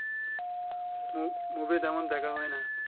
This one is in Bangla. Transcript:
মু মুভি তেমন দেখা হয় না